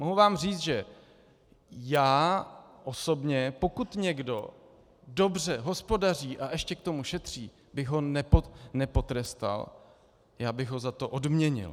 Mohu vám říct, že já osobně, pokud někdo dobře hospodaří a ještě k tomu šetří, bych ho nepotrestal, já bych ho za to odměnil.